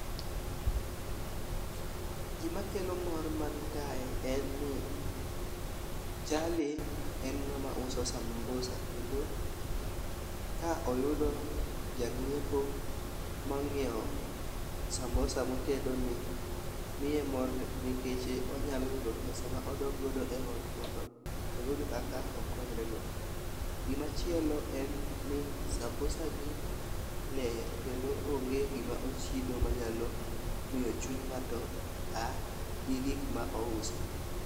Gima kelo mor man kae en ni jalni en ng'ama uso sambusa kendo ka oyudo jang'iepo mang'iewo samosa motedo ni miye mor nikech onyalo yudo pesa ma odok godo e ot mondo oyud kaka okonyre go. Gima chielo en ni sambusa gi ler kendo onge gima ochido manyalo miyo chuny ng'ato a gi gik ma ouso.